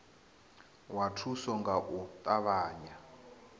wana thuso nga u ṱavhanya